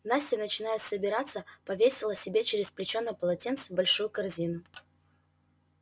настя начиная собираться повесила себе через плечо на полотенце большую корзину